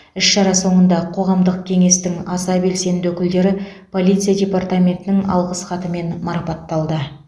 іс шара соңында қоғамдық кеңестің аса белсенді өкілдері полиция департаментінің алғыс хатымен марапатталды